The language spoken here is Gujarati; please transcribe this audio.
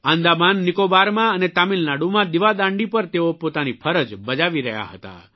આંદામાન નિકોબારમાં અને તામિલનાડુમાં દિવાદાંડી પર તેઓ પોતાની ફરજ બજાવી રહ્યા હતા